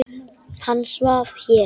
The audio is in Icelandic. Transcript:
Hann svaf hér.